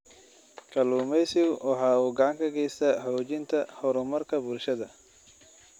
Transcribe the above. Kalluumaysigu waxa uu gacan ka geystaa xoojinta horumarka bulshada.